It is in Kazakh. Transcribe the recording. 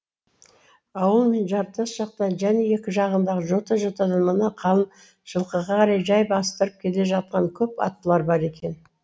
ауыл мен жартас жақтан және екі жағадағы жота жотадан мына қалын жылқыға қарай жай бастырып келе жатқан көп аттылар бар екен